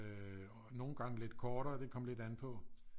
Øh og nogle gange lidt kortere det kom an på